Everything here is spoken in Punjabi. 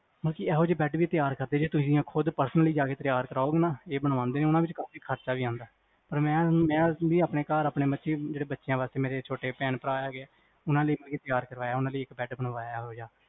ਇਹੋ ਜੇ bed ਵੀ ਤਿਆਰ ਕਰਦੇ ਤੁਸੀ ਮੈਨੂੰ ਕਹੋ personally ਜਾ ਕ ਤਿਆਰ ਕਰਾਉਣਗੇ ਜੇ ਬਨਵੰਦੇਓ ਨਾ ਤੇ ਖਰਚਾ ਵੀ ਆਂਦਾ ਮੈਂ ਵੀ ਆਪਣੇ ਘਰ ਆਪਣੇ ਬੱਚਿਆਂ ਲਈ ਛੋਟੇ ਭੈਣ ਭਰਾ ਵੀ ਹੈਗੇ ਓਹਨਾ ਲਈ ਤਿਆਰ ਕਰਵਾਇਆ ਬੈਡ bed ਬਣਵਾਇਆ